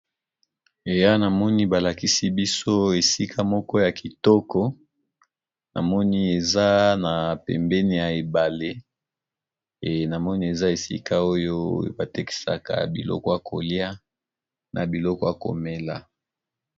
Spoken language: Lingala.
Eya namoni, balakisi biso esika moko ya kitoko. Namoni eza na pembeni ya ebale. E namoni, eza esika oyo batekisaka biloko ya kolia na biloko ya komela.